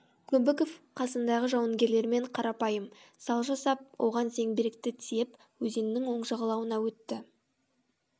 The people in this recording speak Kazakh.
көбіков қасындағы жауынгерлермен қарапайым сал жасап оган зеңбіректі тиеп өзеннің оң жағалауына өтті